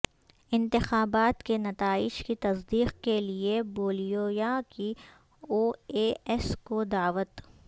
انتخابات کے نتائج کی تصدیق کیلئے بولیویا کی او اے ایس کو دعوت